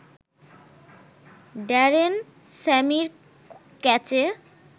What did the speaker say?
Darren স্যামির ক্যাচে